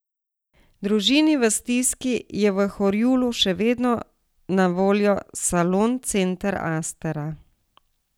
Družini v stiski je v Horjulu še vedno na voljo salon Center Astera.